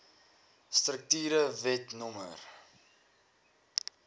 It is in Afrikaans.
strukture wet no